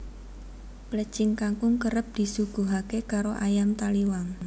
Plecing kangkung kerep disuguhaké karo ayam Taliwang